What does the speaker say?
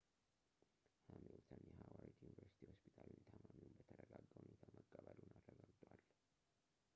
ሀሚልተን የሃዋርድ ዩኒቨርስቲ ሆስፒታል ታማሚውን በተረጋጋ ሁኔታ መቀበሉን አረጋግጧል